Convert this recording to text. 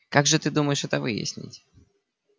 как же ты думаешь это выяснить